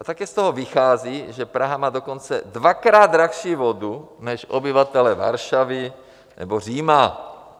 A také z toho vychází, že Praha má dokonce dvakrát dražší vodu než obyvatelé Varšavy nebo Říma.